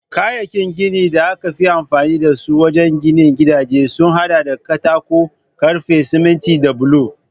Kayayyakin ginin da aka fi amfani da su wajen ginin gidaje sun hada da katako, karfe, siminti da bulo